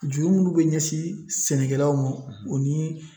Juru minnu bɛ ɲɛsin sɛnɛkɛlaw ma o ni